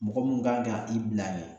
Mɔgɔ mun kan ka i bila yen